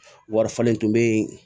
Wari falen tun bɛ yen